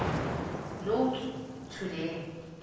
notes to the